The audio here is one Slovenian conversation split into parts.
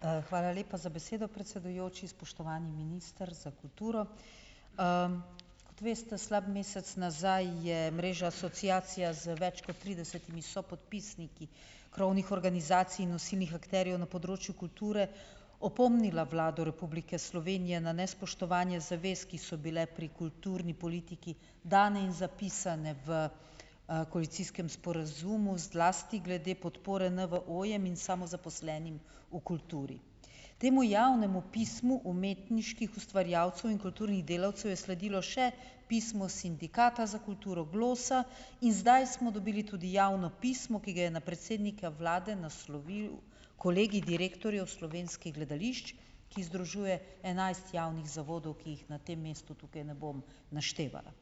Hvala lepa za besedo, predsedujoči. Spoštovani minister za kulturo! Kot veste, slab mesec nazaj je mreža asociacija z več kot tridesetimi sopodpisniki krovnih organizacij in nosilnih akterjev na področju kulture opomnila Vlado Republike Slovenije na nespoštovanje zavez, ki so bile pri kulturni politiki dane in zapisane v, koalicijskem sporazumu, zlasti glede podpore NVO-jem in samozaposlenim v kulturi. Temu javnemu pismu umetniških ustvarjalcev in kulturnih delavcev je sledilo še pismo sindikata za kulturo Glosa in zdaj smo dobili tudi javno pismo, ki ga je na predsednika vlade naslovil kolegij direktorjev slovenskih gledališč, ki združuje enajst javnih zavodov, ki jih na tem mestu tukaj ne bom naštevala.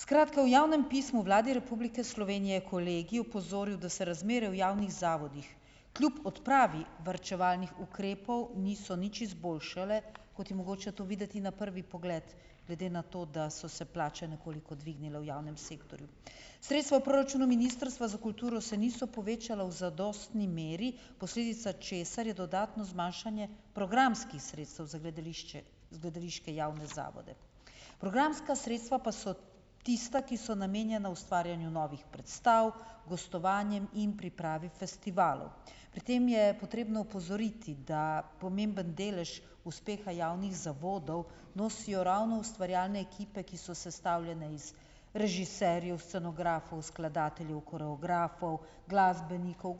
Skratka, v javnem pismu Vladi Republike Slovenije kolegij opozoril, da se razmere v javnih zavodih kljub odpravi varčevalnih ukrepov niso nič izboljšale, kot je mogoče to videti na prvi pogled, glede na to, da so se plače nekoliko dvignile v javnem sektorju. Sredstva v proračunu Ministrstva za kulturo se niso povečala v zadostni meri, posledica česar je dodatno zmanjšanje programskih sredstev za gledališče, gledališke javne zavode. Programska sredstva pa so tista, ki so namenjena ustvarjanju novih predstav, gostovanjem in pripravi festivalov. Pri tem je potrebno opozoriti, da pomemben delež uspeha javnih zavodov nosijo ravno ustvarjalne ekipe, ki so sestavljene iz režiserjev, scenografov, skladateljev, koreografov, gostujočih glasbenikov,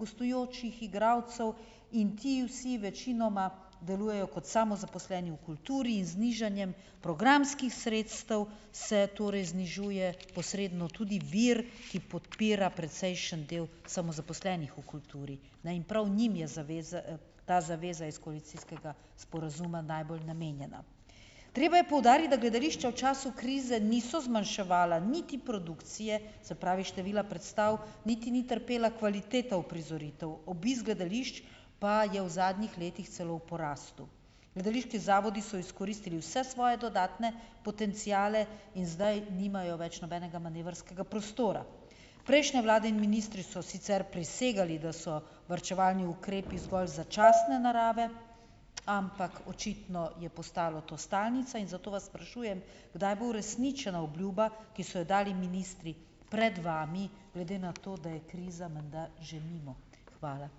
igralcev in ti vsi večinoma delujejo kot samozaposleni v kulturi in z znižanjem programskih sredstev se torej znižuje posredno tudi vir, ki podpira precejšen del samozaposlenih v kulturi, ne, in prav njim je zaveza, ta zaveza iz koalicijskega sporazuma najbolj namenjena. Treba je poudariti, da gledališča v času krize niso zmanjševala niti produkcije, se pravi, števila predstav niti ni trpela kvaliteta uprizoritev, obisk gledališč pa je v zadnjih letih celo v porastu. Gledališki zavodi so izkoristili vse svoje dodatne potenciale in zdaj nimajo več nobenega manevrskega prostora. Prejšnje vlade in ministri so sicer prisegali, da so varčevalni ukrepi zgolj začasne narave, ampak očitno je postalo to stalnica in zato vas sprašujem, kdaj bo uresničena obljuba, ki so jo dali ministri pred vami, glede na to, da je kriza menda že mimo. Hvala.